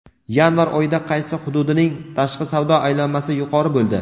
Yanvar oyida qaysi hududining tashqi savdo aylanmasi yuqori bo‘ldi?.